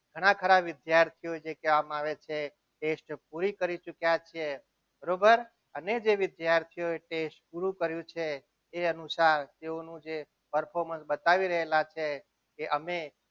ઘણા ઘણા વિદ્યાર્થીઓ કહેવામાં આવે છે test પૂરી કરી ચૂક્યા છે બરોબર અને જે વિદ્યાર્થીઓએ test પૂરું કર્યું છે એ અનુસાર કહેવાનું બતાવી રહ્યા છે એ અમે.